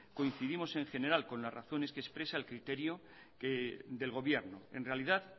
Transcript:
coincidimos en general con las razones que expresa el criterio del gobierno en realidad